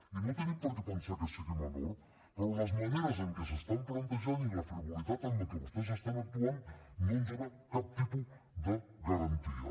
i no tenim per què pensar que sigui menor però les maneres en què s’estan plantejant i la frivolitat amb la que vostès estan actuant no ens donen cap tipus de garantia